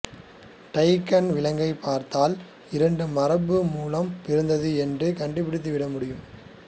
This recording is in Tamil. டைகான் விலங்கைப் பார்த்தால் இரண்டு மரபணு மூலம் பிறந்தது என்று கண்டுபிடித்துவிட முடியும்